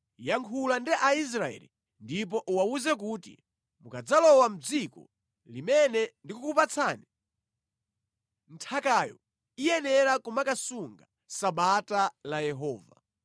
“Yankhula ndi Aisraeli ndipo uwawuze kuti, ‘Mukadzalowa mʼdziko limene ndikukupatsani, nthakayo iyenera kumakasunga Sabata la Yehova.